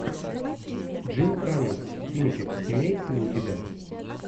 джим каммингс кинчик имеется ли у тебя